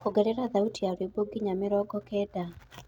ongerera thaũtĩ ya rwĩmbo nginya mĩrongo kenda